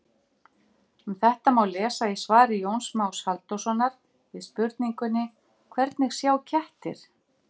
Um þetta má lesa í svari Jóns Más Halldórssonar við spurningunni Hvernig sjá kettir?